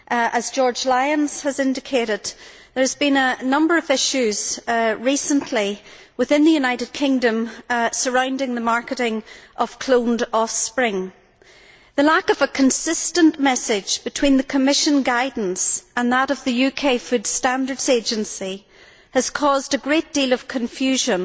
As George Lyon indicated, several issues have emerged in the United Kingdom recently surrounding the marketing of cloned offspring. The lack of a consistent message between the Commission guidance and that of the UK Food Standards Agency has caused a great deal of confusion.